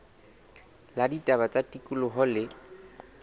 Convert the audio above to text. la ditaba tsa tikoloho le